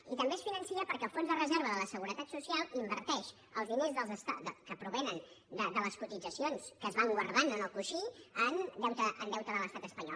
i també es finança perquè el fons de reserva de la seguretat social inverteix els diners que provenen de les cotitzacions que es van guardant en el coixí en deute de l’estat espanyol